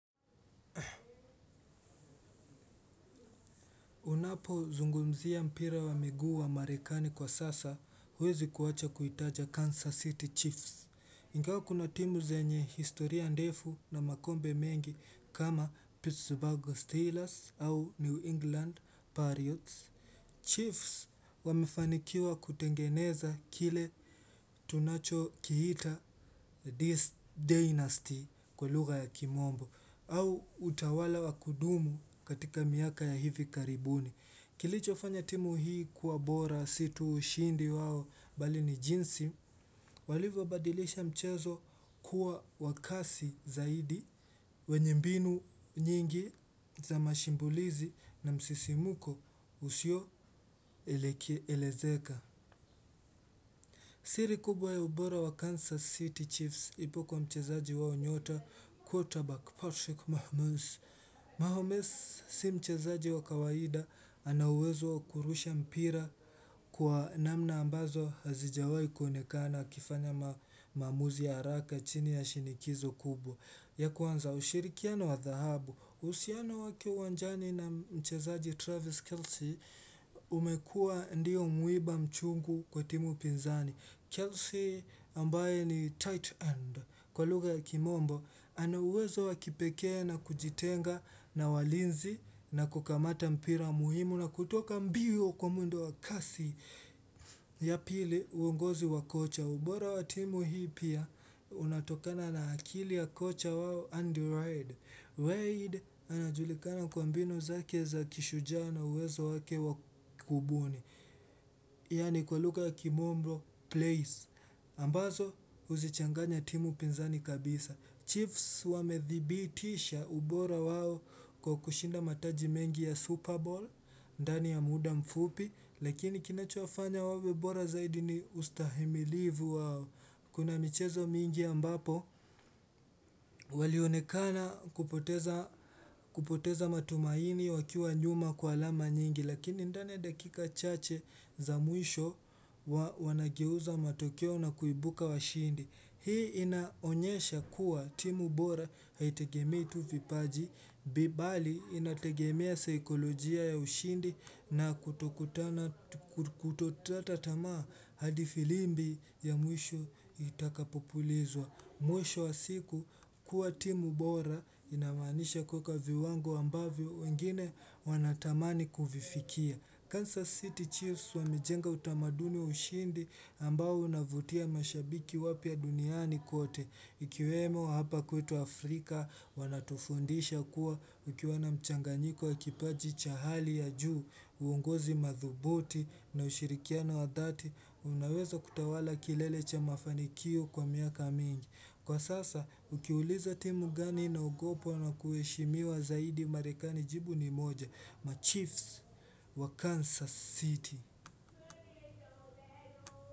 Unapo zungumzia mpira wa miguu wa marekani kwa sasa, huwezi kuwacha kuitaja Kansas City Chiefs. Ngawa kuna timu zenye historia ndefu na makombe mengi kama Pittsburgh Steelers au New England Patriots. Chiefs wamefanikiwa kutengeneza kile tunacho kiita this dynasty kwa lugha ya kimombo au utawala wa kudumu katika miaka ya hivi karibuni. Kilicho fanya timu hii kuwa bora si tuu ushindi wao bali ni jinsi walivyo badilisha mchezo kuwa wa kasi zaidi wenye mbinu nyingi za mashambulizi na msisimuko usio elezeka. Siri kubwa ya ubora wa Kansas City Chiefs ipo kwa mchezaji wao nyota quarterback Patrick Mahmoods Mahmoods si mchezaji wa kawaida anauwezo wa kurusha mpira. Kwa namna ambazo hazijawai kuonekana kifanya mamuzi ya haraka chini ya shinikizo kubwa. Ya kwanza ushirikiano wa dhahabu. Uhusiano wake wanjani na mchezaji Travis Kelsey umekua ndio mwiba mchungu kwa timu pinzani. Kelsey ambaye ni tight end. Kwa luga ya kimombo, anauwezo wakipekee na kujitenga na walinzi na kukamata mpira muhimu na kutoka mbio kwa mwendo wa kasi ya pili uongozi wa kocha. Ubora wa timu hii pia unatokana na akili ya kocha wao andy ride. Ride anajulikana kwa mbinu zake za kishuja na uwezo wake wakubuni. Yani kwa lugha ya kimombro plays. Ambazo huzichanganya timu pinzani kabisa. Chiefs wamedhibitisha ubora wao kwa kushinda mataji mengi ya Super Bowl. Ndani ya muda mfupi lakini kinachofanya wawe bora zaidi ni ustahimilivu wao kuna michezo mingi ambapo walionekana kupoteza matumaini wakiwa nyuma kwa alama nyingi lakini ndani ya dakika chache za mwisho wanageuza matokeo na kuibuka wa shindi hii inaonyesha kuwa timu bora haitegemei tu vipaji bibali inategemea saikolojia ya ushindi na kutotata tamaa hadi filimbi ya mwisho itakapopulizwa. Mwisho wa siku kuwa timu bora inamanisha kuweka viwango ambavyo wengine wanatamani kuvifikia. Kansas City Chiefs wamejenga utamaduni wa ushindi ambao unavutia mashabiki wapya duniani kote. Ikiwemo hapa kwetu Afrika wanatufundisha kuwa ukiwana mchanganyiko wa kipaji chahali ya juu, uongozi madhubuti na ushirikiano wa dhati, unaweza kutawala kilelecha mafanikio kwa miaka mingi. Kwa sasa, ukiuliza timu gani ina ogopwa na kueshimiwa zaidi marekani jibu ni moja, Machiefs wa Kansas City.